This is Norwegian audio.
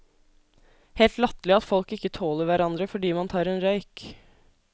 Helt latterlig at folk ikke tåler hverandre fordi man tar en røyk.